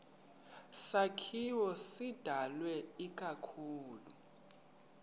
sakhiwo sidalwe ikakhulu